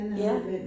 Ja